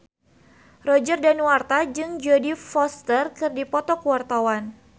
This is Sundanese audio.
Roger Danuarta jeung Jodie Foster keur dipoto ku wartawan